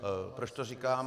Proč to říkám?